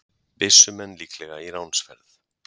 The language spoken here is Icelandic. Byssumenn líklega í ránsferð